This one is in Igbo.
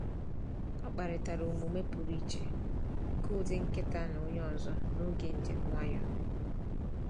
Ọ kparịtara omume pụrụ iche nke ụdị nkịta na onye ọzọ n’oge njem nwayọọ.